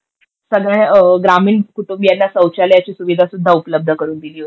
सगळ्या ग्रामीण कुटुंबियाला सौचालयाची सुविधा सुद्धा उपलब्ध करून दिली होती.